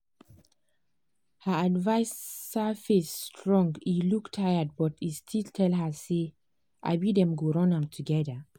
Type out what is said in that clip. her adviser face strong e look tired but e still tell her say um dem go run am together.